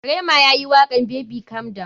Rema yayi wakan [baby calm down].